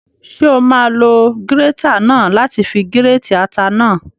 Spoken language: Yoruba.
Ṣé o máa lo gírétà náà láti fi gírètì ata náà?